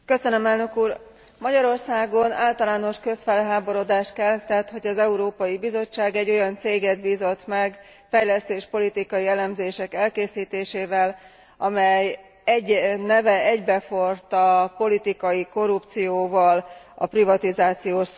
Magyarországon általános közfelháborodást keltett, hogy az Európai Bizottság egy olyan céget bízott meg fejlesztéspolitikai elemzések elkészítésével, amely neve egybeforrt a politikai korrupcióval, a privatizációs szabadrablással.